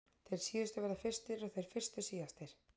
Þeir síðustu verða fyrstir og þeir fyrstu síðastir!